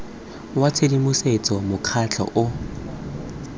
wa tshedimosetso wa mokgatlho o